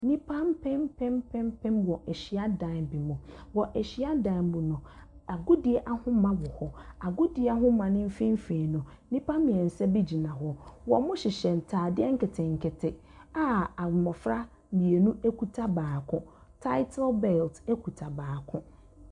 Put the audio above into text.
Nnipa mpempem mpempem wɔ hyiadan bi mu. Wɔ hyiadan mu no, agodie ahoma wɔ hɔ. Agodie ahoma no mfimfini no, nnipa mmeɛnsa bi gyina hɔ. Wɔhyehyɛ ntadeɛ nketenkete a mmɔfra mmienu kuta baako. Tatle belt kuta baako.